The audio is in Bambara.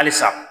Halisa